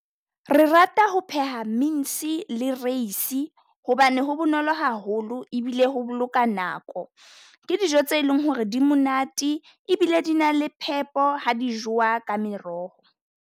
Re rata ho pheha mince le rice-e hobane ho bonolo haholo, ebile ho boloka nako. Ke dijo tse leng ho re di monate, ebile di na le phepo ha di jowa ka meroho.